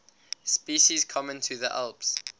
species common to the alps